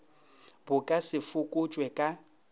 bo ka se fokotšwe ka